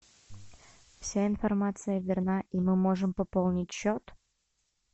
вся информация верна и мы можем пополнить счет